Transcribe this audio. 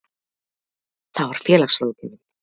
Það var félagsráðgjafinn.